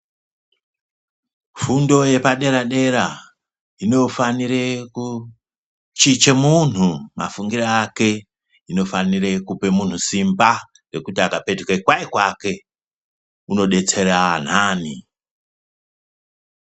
Fundo yepadera-dera inofanire kuchinje muntu mafungire ake. Inofanire kupe muntu simba rekuti akapetuka kanyi kwake unodetsera antani.